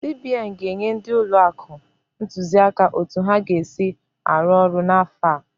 CBN ga-enye ndị ụlọ akụ ntụziaka otu ha ga-esi arụ ọrụ n'afọ a.